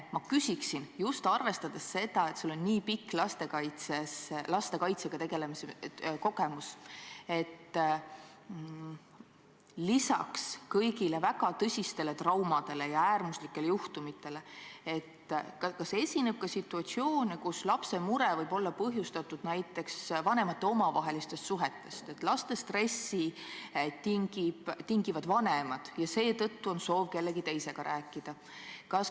Ma küsiksin – just arvestades seda, et sul on nii pikk lastekaitse kogemus –, kas lisaks kõigile väga tõsistele traumadele ja äärmuslikele juhtumitele esineb ka situatsioone, kus lapse mure võivad olla põhjustanud näiteks vanemate omavahelised suhted, laste stressi on tinginud vanemad ja seetõttu on soov kellegi teisega rääkida.